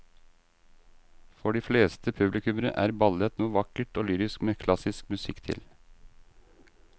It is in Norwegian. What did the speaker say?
For de fleste publikummere er ballett noe vakkert og lyrisk med klassisk musikk til.